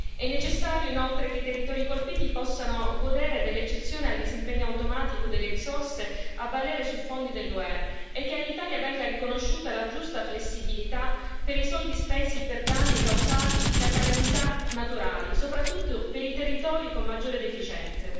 È necessario, inoltre, che i territori colpiti possano godere dell'eccezione al disimpegno automatico delle risorse a valere sui fondi dell'UE e che all'Italia venga riconosciuta la giusta flessibilità per i soldi spesi per danni causati da calamità naturali, soprattutto per i territori con maggiore deficienze.